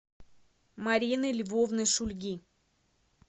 марины львовны шульги